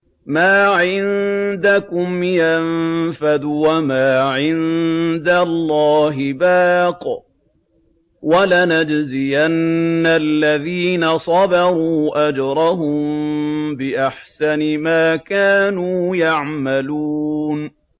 مَا عِندَكُمْ يَنفَدُ ۖ وَمَا عِندَ اللَّهِ بَاقٍ ۗ وَلَنَجْزِيَنَّ الَّذِينَ صَبَرُوا أَجْرَهُم بِأَحْسَنِ مَا كَانُوا يَعْمَلُونَ